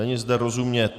Není zde rozumět.